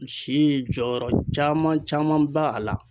Si jɔyɔrɔ caman caman ba a la